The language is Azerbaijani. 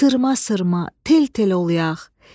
Sırma-sırma, tel-tel ol yağ.